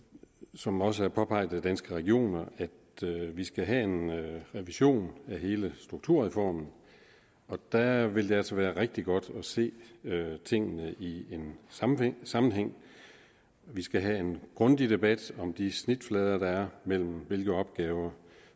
som også påpeget af danske regioner at vi skal have en revision af hele strukturreformen og der vil det altså være rigtig godt at se tingene i en sammenhæng sammenhæng vi skal have en grundig debat om de snitflader der er mellem hvilke opgaver